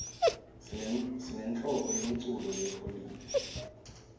sinenhlobo yemculo lepholile